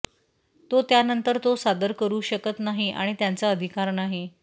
ते त्यानंतर तो सादर करू शकत नाही आणि त्याचा अधिकार नाही